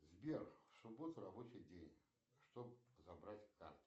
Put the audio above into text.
сбер суббота рабочий день чтоб забрать карту